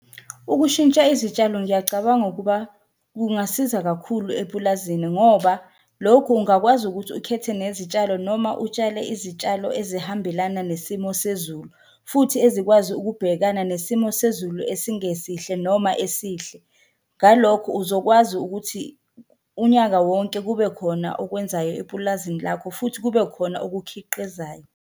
Ukushintsha izitshalo ngiyacabanga ukuba kungasiza kakhulu epulazini ngoba lokhu ungakwazi ukuthi ukhethe nezitshalo noma utshale izitshalo ezihambelana nesimo sezulu, futhi ezikwazi ukubhekana nesimo sezulu esingesihle noma esihle. Ngalokhu uzokwazi ukuthi unyaka wonke kube khona okwenzayo epulazini lakho futhi kube khona okukhiqizayo.